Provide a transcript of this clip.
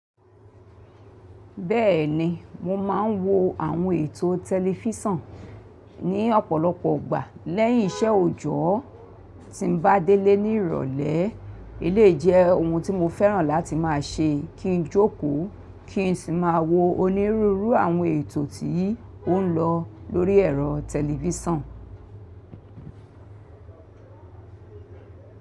Bẹ́ẹ̀ni, mo máa ń wo àwọn ètò tẹlifísàn ní ọ̀pọ̀lọpọ̀ ọgbà lẹ́yìn iṣẹ́ òjọ́ tí mo bá délé ní ìrọ̀lẹ́. Éléyii jẹ́ ohun tí mo fẹ́ràn láti má a ṣe kí n jókòó kí n sì má a wo onírúurú àwọn ètò tí ó ń lọ lórí ẹ̀rọ tẹlifísàn.